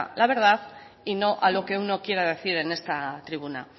la verdad y no a lo que uno quiera decir en esta tribuna